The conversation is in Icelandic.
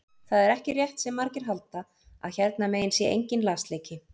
Það er ekki rétt sem margir halda að hérna megin sé enginn lasleiki.